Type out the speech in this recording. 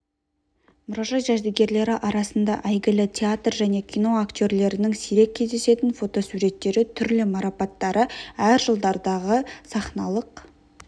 мұражай жәдігерлері арасында әйгілі театр және кино актерлерінің сирек кездесетін фотосуреттері түрлі марапаттары әр жылдардағы сахналық